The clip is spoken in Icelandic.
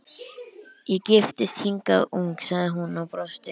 Ég giftist hingað ung sagði hún og brosti.